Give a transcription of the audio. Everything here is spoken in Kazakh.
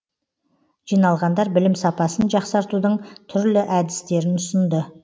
жиналғандар білім сапасын жақсартудың түрлі әдістерін ұсынды